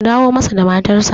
ku dawo matarsa!